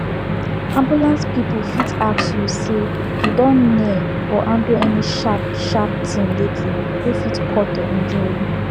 ambulance people fit ask you say you don near or handle any sharp sharp thing lately wey fit cut or injure you